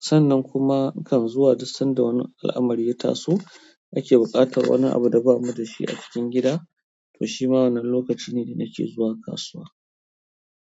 sannan kuma nakan zuwa duk sanda wani al'amari ya taso, ake buƙatar wani abu da bamu da shi a cikin gida, to shima wannan lokaci ne da nake zuwa kasuwa.